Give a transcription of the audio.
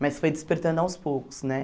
Mas foi despertando aos poucos, né?